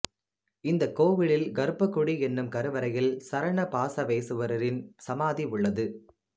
இந்த கோவிலில் கர்பகுடி என்னும் கருவறையில் சரண பாசவேசுவரரின் சமாதி உள்ளது